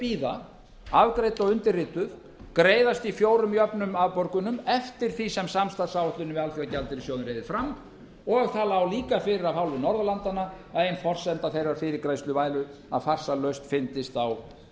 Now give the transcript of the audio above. bíða afgreidd og undirrituð greiðast í fjórum jöfnum afborgunum eftir því sem samstarfsáætlunin við alþjóðagjaldeyrissjóðinn reiðir fram og það lá líka fyrir af hálfu norðurlandanna að ein forsenda þeirrar fyrirgreiðslu væri að farsæl lausn fyndist